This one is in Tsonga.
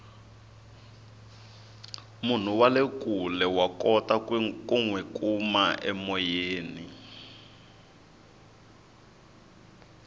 munhu wale kule wa kota ku nwi kuma emoyeni